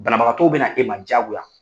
Banabagatɔw bɛna na e ma diyagoya